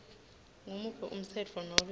ngumuphi umtsetfo nobe